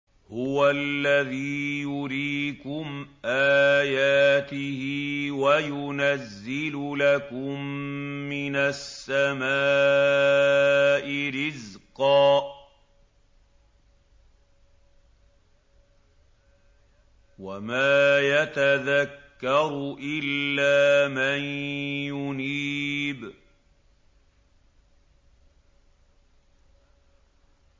هُوَ الَّذِي يُرِيكُمْ آيَاتِهِ وَيُنَزِّلُ لَكُم مِّنَ السَّمَاءِ رِزْقًا ۚ وَمَا يَتَذَكَّرُ إِلَّا مَن يُنِيبُ